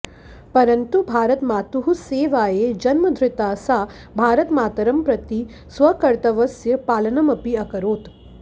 परन्तु भारतमातुः सेवायै जन्मधृता सा भारतमातरं प्रति स्वकर्तव्यस्य पालनमपि अकरोत्